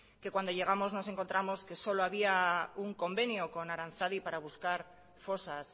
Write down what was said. cuando llegamos nos encontramos que solo había un convenio con aranzadi para buscar fosas